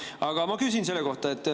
Aga ma ka küsin.